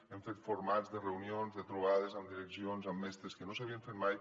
hem fet formats de reunions de trobades amb direccions amb mestres que no s’havien fet mai